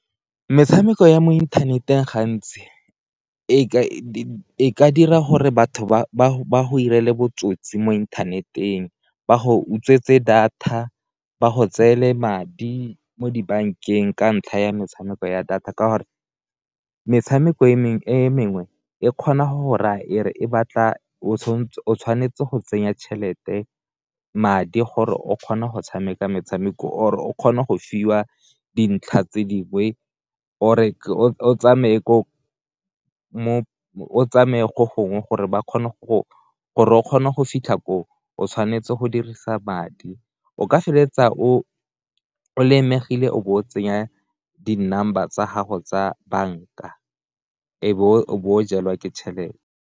Metshameko ya mo inthaneteng gantsi e ka dira gore batho ba go irele botsotsi mo interneteng, ba go utswetswa data, ba go tseele madi mo dibankeng, ka ntlha ya metshameko ya data ka gore metshameko e mengwe e kgona go ra e re e batla o tshwanetse go tsenya tšhelete madi gore o kgona go tshameka metshameko or o kgona go fiwa dintlha tse dingwe or e o tsamaye ko gongwe gore o kgone gore o kgone go fitlha ko o tshwanetse go dirisa madi o ka feleletsa o lemegile o bo o tsenya di number tsa gago tsa banka e be o jalwa ke tšhelete.